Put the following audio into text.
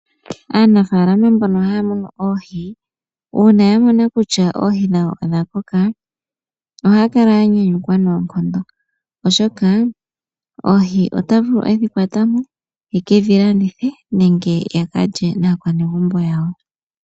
Aanafaalama mbono haya munu oohi, uuna ya mona kutya oohi dhawo odha koka ohaya kala ya nyanyukwa noonkondo, oshoka oohi ota vulu oku dhi kwata mo a ka landithe nenge a ka lye naanegumbo yawo.